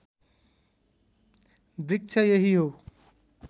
वृक्ष यही हो